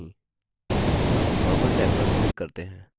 tab normal tab पर click करते हैं